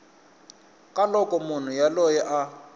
ka loko munhu yoloye a